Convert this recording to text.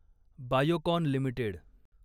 Biocon limited